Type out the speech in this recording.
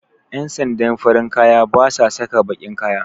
Ƴan sandan farin kaya basa saka baƙin kaya